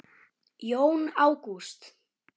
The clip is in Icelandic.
Jón Ágúst.